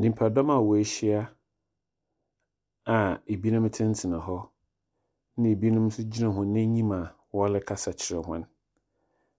Nyimpadɔm a woehyia a binom tsenatsena hɔ, na binom so gyina hɔn enyim a wɔrekasa kyerɛ hɔn.